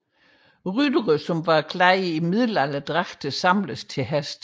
Ryttere iklædt middelalderdragter samles til hest